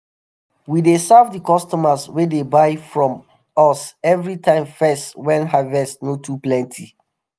we dey serve di customers wey dey buy from us evri time first wen harvest no too plenty.